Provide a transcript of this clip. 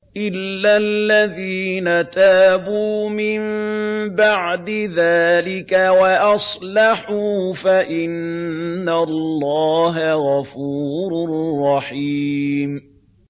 إِلَّا الَّذِينَ تَابُوا مِن بَعْدِ ذَٰلِكَ وَأَصْلَحُوا فَإِنَّ اللَّهَ غَفُورٌ رَّحِيمٌ